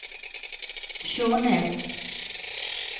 Skjånes